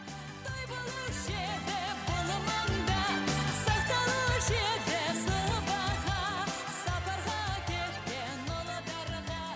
той болушы еді бұл маңда сақталушы еді сыбаға сапарға кеткен ұлдарға